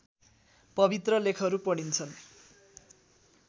पवित्र लेखहरू पढिन्छन्